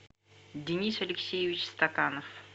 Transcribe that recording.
денис алексеевич стаканов